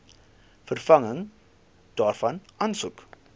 vervanging daarvan aansoek